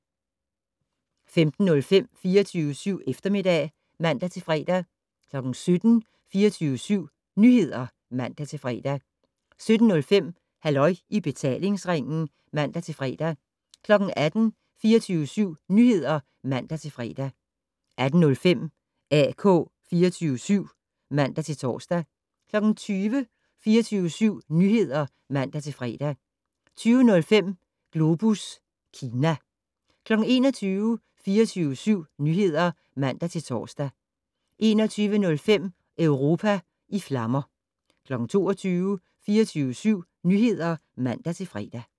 15:05: 24syv Eftermiddag (man-fre) 17:00: 24syv Nyheder (man-fre) 17:05: Halløj i betalingsringen (man-fre) 18:00: 24syv Nyheder (man-fre) 18:05: AK 24syv (man-tor) 20:00: 24syv Nyheder (man-fre) 20:05: Globus Kina 21:00: 24syv Nyheder (man-tor) 21:05: Europa i flammer 22:00: 24syv Nyheder (man-fre)